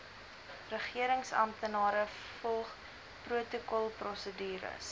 regeringsamptenare volg protokolprosedures